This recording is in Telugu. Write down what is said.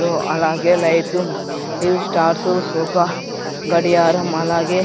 దో అలాగే లైట్లు యూ స్టార్సు సోకా గడియారం అలాగే--